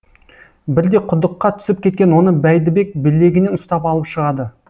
бірде құдыққа түсіп кеткен оны бәйдібек білегінен ұстап алып шығады